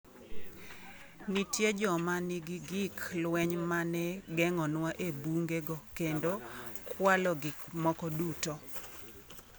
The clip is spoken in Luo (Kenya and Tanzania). Nitie joma nigi gik lweny ma ne geng’onua e bunge go kendo kwalo gik moko duto.